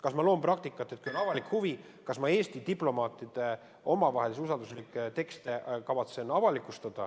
Kas ma loon praktikat, et kui on avalik huvi, siis ma avalikustan Eesti diplomaatide omavahelisi usalduslikke tekste?